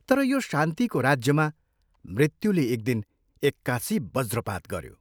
तर यो शान्तिको राज्यमा मृत्युले एकदिन एक्कासि वज्रपात गयो।